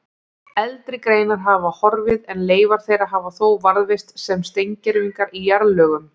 Eldri greinar hafa horfið en leifar þeirra hafa þó varðveist sem steingervingar í jarðlögum.